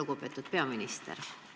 Lugupeetud peaminister!